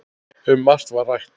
Um margt var að ræða.